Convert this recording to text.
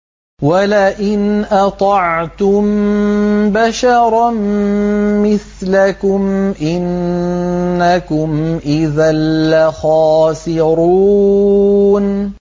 وَلَئِنْ أَطَعْتُم بَشَرًا مِّثْلَكُمْ إِنَّكُمْ إِذًا لَّخَاسِرُونَ